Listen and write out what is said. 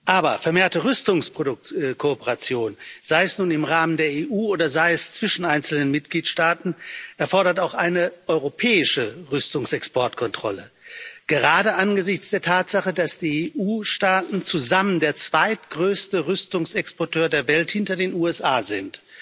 Aber vermehrte Rüstungskooperation, sei es nun im Rahmen der EU oder sei es zwischen einzelnen Mitgliedstaaten, erfordert auch eine europäische Rüstungsexportkontrolle, gerade angesichts der Tatsache, dass die EU Staaten zusammen der zweitgrößte Rüstungsexporteur der Welt hinter den USA sind.